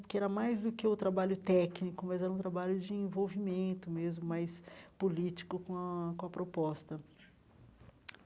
porque era mais do que o trabalho técnico, mas era um trabalho de envolvimento mesmo, mais político com a com a proposta.